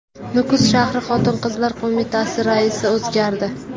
Nukus shahri Xotin-qizlar qo‘mitasi raisi o‘zgardi.